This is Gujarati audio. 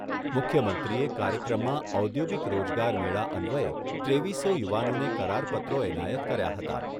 મુખ્યમંત્રીએ કાર્યક્રમમાં ઔદ્યોગિક રોજગાર મેળા અન્વયે ત્રેવીસો યુવાનોને કરાર પત્રો એનાયત કર્યા હતા.